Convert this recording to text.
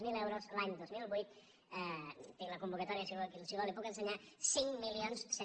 zero d’euros l’any dos mil vuit tinc la convocatòria si vol la hi puc ense·nyar cinc mil cent